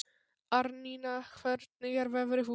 Árnína, hvernig er veðrið úti?